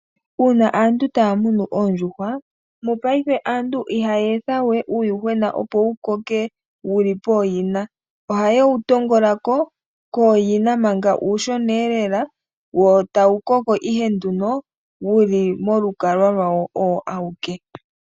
Uuna aantu taya tekula oondjuhwa, mongashingeyi aantu ihaya etha we uuyuhwena opo wukokele pooyina. Ohaye wu pangula ko kooyina manga uushona lela, wo tawu koko ihe nduno wuli polukalwa lwawo owo awike.